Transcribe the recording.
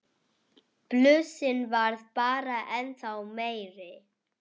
Blúsinn varð bara ennþá meiri.